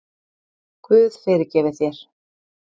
Guð fyrirgefi þér.